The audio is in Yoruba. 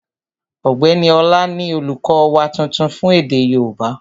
Ọ̀gbẹ́ni Ọlá ni olùkọ́ wa tuntun fún èdè yóòbá